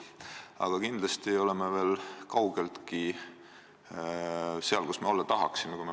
Aga kindlasti ei ole me veel kaugeltki seal, kus olla tahaksime.